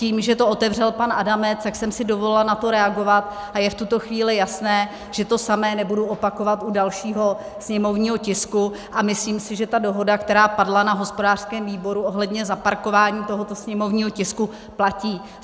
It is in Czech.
Tím, že to otevřel pan Adamec, tak jsem si dovolila na to reagovat, a je v tuto chvíli jasné, že to samé nebudu opakovat u dalšího sněmovního tisku, a myslím si, že ta dohoda, která padla na hospodářském výboru ohledně zaparkování tohoto sněmovního tisku, platí.